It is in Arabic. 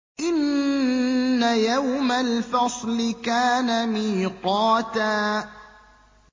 إِنَّ يَوْمَ الْفَصْلِ كَانَ مِيقَاتًا